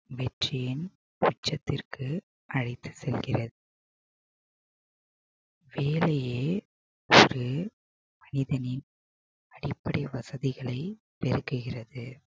வெற்றியின் உச்சத்திற்கு அழைத்துச் செல்கிறது வேலையே மனிதனின் அடிப்படை வசதிகளை பெருக்குகிறது